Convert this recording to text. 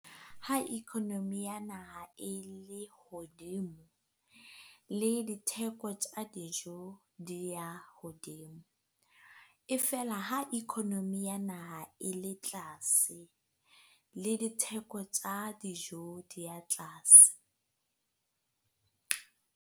Ha economy ya naha e le hodimo le ditheko tja dijo di ya hodimo, e feela ha economy ya naha e le tlase le ditheko tja dijo di ya tlase.